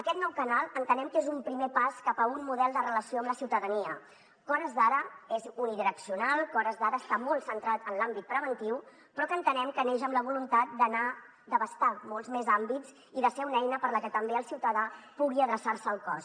aquest nou canal entenem que és un primer pas cap a un model de relació amb la ciutadania que a hores d’ara és unidireccional que a hores d’ara està molt centrat en l’àmbit preventiu però que entenem que neix amb la voluntat d’abastar molts més àmbits i de ser una eina per la que també el ciutadà pugui adreçar se al cos